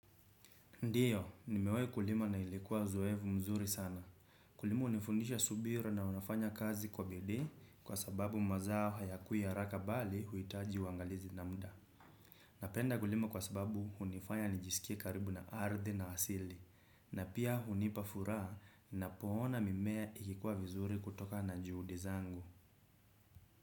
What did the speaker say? Ndiyo, nimewahi kulima na ilikuwa uzoefu mzuri sana. Kulima hunifundisha subira na unafanya kazi kwa bidii kwa sababu mazao hayakui haraka bali huhitaji uangalizi na muda. Napenda kulima kwa sababu hunifanya nijisikie karibu na ardhi na asili. Na pia hunipa furaha ninapoona mimea ikikuwa vizuri kutokana na juhudi zangu.